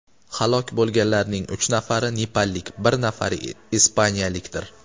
Halok bo‘lganlarning uch nafari nepallik, bir nafari ispaniyalikdir.